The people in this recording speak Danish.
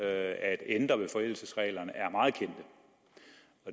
at ændre ved forældelsesreglerne er meget kendte